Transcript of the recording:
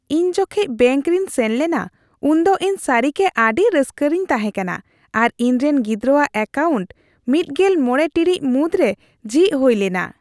ᱤᱧ ᱡᱚᱠᱷᱮᱡ ᱵᱮᱝᱠ ᱨᱤᱧ ᱥᱮᱱ ᱞᱮᱱᱟ ᱩᱱᱫᱚ ᱤᱧ ᱥᱟᱹᱨᱤᱜᱮ ᱟᱹᱰᱤ ᱨᱟᱹᱥᱠᱟᱹ ᱨᱮᱧ ᱛᱟᱦᱮᱸᱠᱟᱱᱟ, ᱟᱨ ᱤᱧᱨᱮᱱ ᱜᱤᱫᱽᱨᱟᱣᱟᱜ ᱮᱠᱟᱣᱩᱱᱴ ᱑᱕ ᱴᱤᱲᱤᱡ ᱢᱩᱫᱽᱨᱮ ᱡᱷᱤᱡ ᱦᱩᱭ ᱞᱮᱱᱟ ᱾